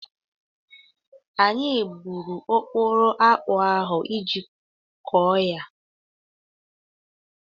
Anyị gburu okporo akpụ ahụ iji kụọ ya.